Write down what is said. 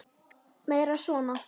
Meira svona!